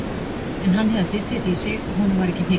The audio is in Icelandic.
En hann hafði bitið þetta í sig og honum var ekki hnikað.